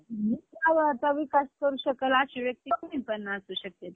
हम्म ज्योतिबाच्या मंदिरात गेलो, तिथे एक दोन, दोन तास, दोन तासात दर्शन झालं आमचं.